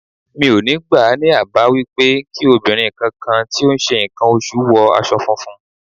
Mi ò ní gbà á ní àbá wípé kí obìnrin kankan tí ó ń ṣe ǹkan oṣù wọ aṣọ funfun.